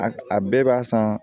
A a bɛɛ b'a san